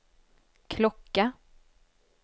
klocka